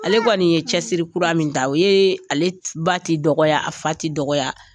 Ale kɔni ye cɛsiri kura min ta o ye ale ba ti dɔgɔya a fa ti dɔgɔya